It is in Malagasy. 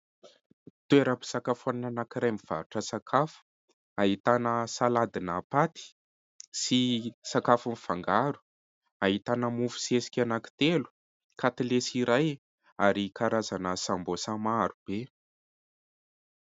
Toeram-pisakafoanana anankiray mivarotra sakafo ; ahitana saladina paty sy sakafo mifangaro ; ahitana mofo sesika anankitelo, katilesy iray ary karazana sambôsa maro be.